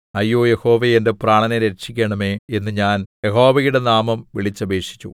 അയ്യോ യഹോവേ എന്റെ പ്രാണനെ രക്ഷിക്കണമേ എന്ന് ഞാൻ യഹോവയുടെ നാമം വിളിച്ചപേക്ഷിച്ചു